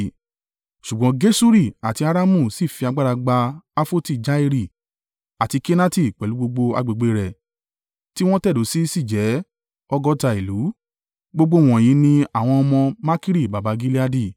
(Ṣùgbọ́n Geṣuri àti Aramu sì fi agbára gba Hafoti-Jairi, àti Kenati pẹ̀lú gbogbo agbègbè rẹ̀ tí wọn tẹ̀dó sí jẹ́ ọgọ́ta ìlú.) Gbogbo wọ̀nyí ni àwọn ọmọ Makiri baba Gileadi.